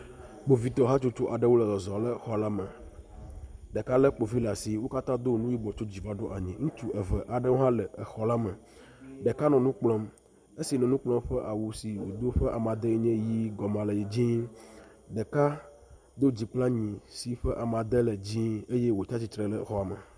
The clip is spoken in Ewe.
Kpovitɔ hatsotso aɖewo le zɔzɔm le xɔ la me. ɖeka le kpovi ɖe asi. Wo katã wodo nu yibɔ tso dzi va ɖo anyi. Ŋutsu eve aɖewo hã le exɔ la me. Ɖeka nɔ nu kplɔm. Esi nɔ nu kplɔm ƒe awu si wodo nye ʋi gɔmea le dzii. Ɖeka do dzi kple anyi yi ke ƒe amade le dzii eye wotsi atsitre ɖe xɔa me.